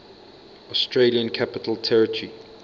australian capital territory